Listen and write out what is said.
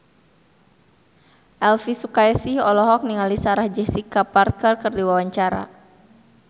Elvi Sukaesih olohok ningali Sarah Jessica Parker keur diwawancara